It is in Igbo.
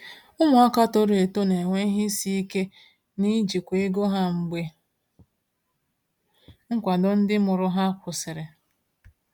Ụmụaka toro eto na-enwe ihe isi ike n’ijikwa ego ha mgbe nkwado ndị mụrụ ha kwụsịrị.